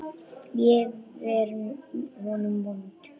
Ég hef verið honum vond.